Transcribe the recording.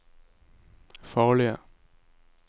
farlige